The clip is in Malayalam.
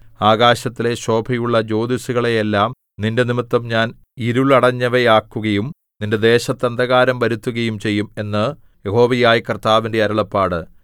ആകാശത്തിലെ ശോഭയുള്ള ജ്യോതിസ്സുകളെയെല്ലാം നിന്റെനിമിത്തം ഞാൻ ഇരുളടഞ്ഞവയാക്കുകയും നിന്റെ ദേശത്ത് അന്ധകാരം വരുത്തുകയും ചെയ്യും എന്ന് യഹോവയായ കർത്താവിന്റെ അരുളപ്പാട്